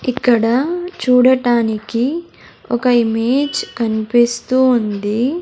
ఇక్కడ చూడటానికి ఒక ఇమేజ్ కనిపిస్తూ ఉంది.